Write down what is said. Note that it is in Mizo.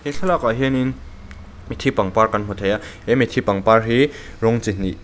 thlalakah hian in mithi pangpar kan hmu thei a he mithi pangpar hi rawng chihnih--